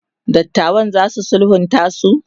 dattawan zasu sulhunta su?